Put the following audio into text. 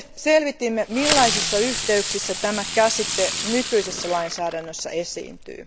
Selvitimme, millaisissa yhteyksissä tämä käsite nykyisessä lainsäädännössä esiintyy.